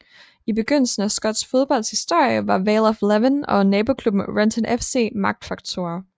I begyndelsen af skotsk fodbolds historie var Vale of Leven og naboklubben Renton FC magtfaktorer